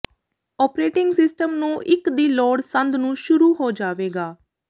operating system ਨੂੰ ਇੱਕ ਦੀ ਲੋੜ ਸੰਦ ਨੂੰ ਸ਼ੁਰੂ ਹੋ ਜਾਵੇਗਾ